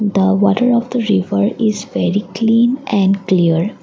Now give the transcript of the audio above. the water of the river is very clean and clear.